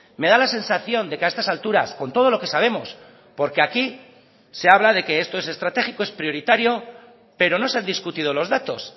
me da la sensación de que a estas alturas con todo lo que sabemos porque aquí se habla de que esto es estratégico es prioritario pero no se han discutido los datos